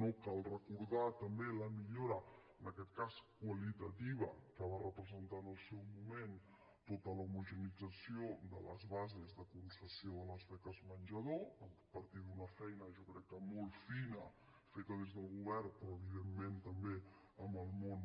no cal recordar també la millora en aquest cas qualitativa que va representar en el seu moment tota l’homogeneïtzació de les bases de concessió de les beques menjador a partir d’una feina jo crec que molt fina feta des del govern però evidentment també amb el món